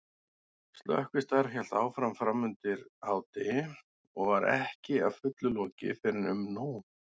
Slökkvistarf hélt áfram framundir hádegi og var ekki að fullu lokið fyrren um nón.